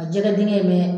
A jɛgɛ dingɛ in mɛ